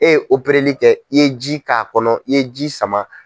E ye kɛ i ye ji k'a kɔnɔ i ye ji sama.